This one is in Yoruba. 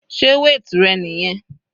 Sé weight rẹ niyẹn?